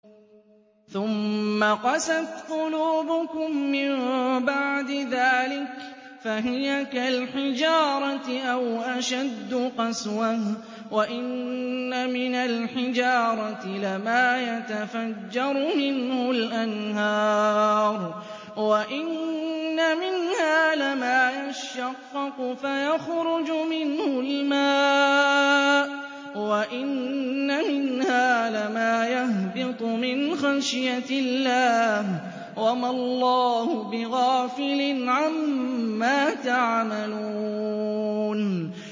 ثُمَّ قَسَتْ قُلُوبُكُم مِّن بَعْدِ ذَٰلِكَ فَهِيَ كَالْحِجَارَةِ أَوْ أَشَدُّ قَسْوَةً ۚ وَإِنَّ مِنَ الْحِجَارَةِ لَمَا يَتَفَجَّرُ مِنْهُ الْأَنْهَارُ ۚ وَإِنَّ مِنْهَا لَمَا يَشَّقَّقُ فَيَخْرُجُ مِنْهُ الْمَاءُ ۚ وَإِنَّ مِنْهَا لَمَا يَهْبِطُ مِنْ خَشْيَةِ اللَّهِ ۗ وَمَا اللَّهُ بِغَافِلٍ عَمَّا تَعْمَلُونَ